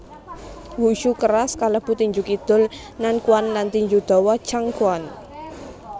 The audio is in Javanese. Wushu keras kalebu tinju kidul Nanquan lan tinju dawa Changquan